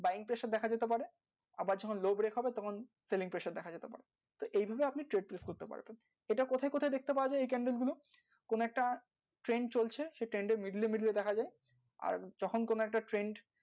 buying, session দেখা দিতে পারে আবার selling, pressure এই গুলো এটা একেবারে weekend তখন তো much, same